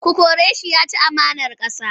Ku kore shi! Ya ci amanar ƙasa.